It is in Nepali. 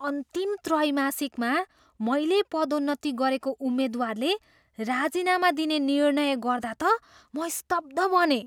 अन्तिम त्रैमासिकमा मैले पदोन्नति गरेको उम्मेद्वारले राजीनामा दिने निर्णय गर्दा त म स्तब्ध बनेँ।